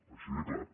així de clar